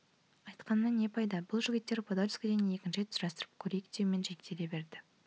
айтқанымнан не пайда бұл жігіттер падольскіден екінші рет сұрастырып көрейік деумен шектеле берді